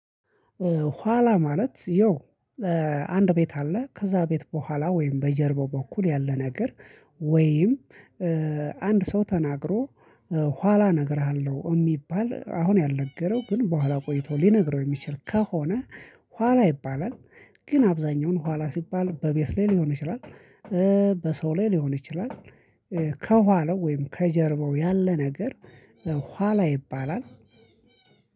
ኋላ ማለት ያው እ አንድ ቤት አለ ከዛ ቤት በኋላ ወይም በጀርባው በኩል ያለ ነገር ወይም እ አንድ ሰው ተናግሮ እ ኋላ እነግርሃለሁ እሚባል አሁን ያልነገረው ግን በኋላ ቆይቶ ሊነግረው የሚችል ከሆነ ኋላ ይባላል። ግን አብዛኛውን ኋላ ሲባል በቤት ላይ ሊሆን ይችላል እ በሰው ላይ ሊሆን ይችላል። እ ከኋላው ወይም ከጀርባው ያለ ነገር። ኋላ ይባላል።